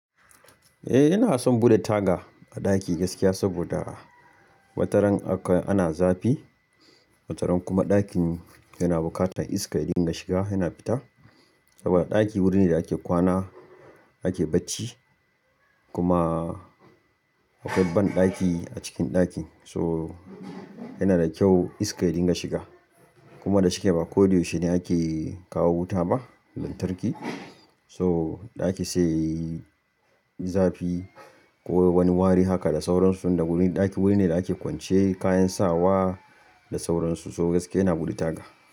Eh, ina son bude taga a ɗaki gaskiya saboda a wataran aka ana zafi. Wataran kuma ɗakin yana bukatan iska, idan ya shiga yana fita. Saboda ɗaki wurin ne da ake kwana, ake bacci kuma akwai banɗaki a cikin ɗaki. So yana da kyau iska idan ta shiga kuma da shike ba ko yaushe ne ake kawo wuta ba, lantarki. So ɗaki sai yayi zafi ko wani wari haka da sauransu. Tun da wurin ɗaki wurin ne da ake kwance kayan sawa da sauransu. So gaskiya ina buɗe taga.